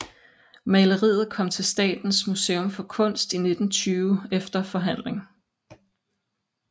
Maleriet kom til Statens Museum for Kunst i 1920 efter forhandling